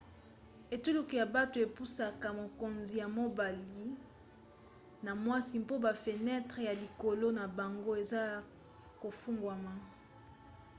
etuluku ya bato epusaka mokonzi ya mobali na ya mwasi mpo bafenetre ya likalo na bango ezala ya kofungwama